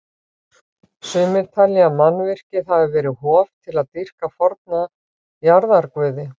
Sumir telja að mannvirkið hafi verið hof til að dýrka forna jarðarguði.